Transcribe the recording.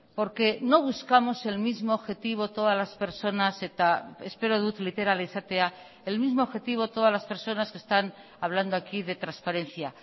porque no buscamos el mismo objetivo todas las personas eta espero dut literal izatea el mismo objetivo todas las personas que están hablando aquí de transparencia